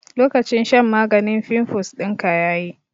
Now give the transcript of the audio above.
Lokacin shan maganin fimfus dinka yayi